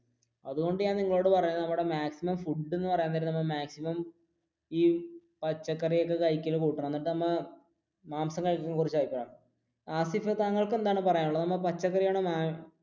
അതുകൊണ്ടു ഞാൻ നിങ്ങളോട് പറയുന്നത് maximum food എന്ന് പറയാൻ നേരം maximum ഈ പച്ചക്കറി ഒക്കെ കഴിക്കണ കൂട്ടണം. എന്നിട്ട് നമ്മൾ ഹാസിഫ് എന്താണ് താങ്കൾക്ക് പറയാനുള്ളത്? നമ്മൾ